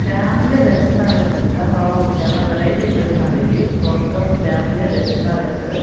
Family restaurant అంట wow చానా వెరైటీగా పెట్టినారు ఇది స్వర్గం ఫ్యామిలీ రెస్టారెంట్ .